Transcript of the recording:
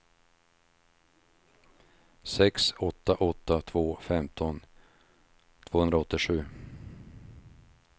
sex åtta åtta två femton tvåhundraåttiosju